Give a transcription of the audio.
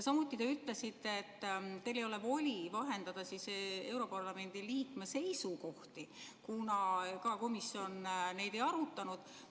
Samuti te ütlesite, et teil ei ole voli vahendada europarlamendi liikme seisukohti, kuna komisjon neid ei arutanud.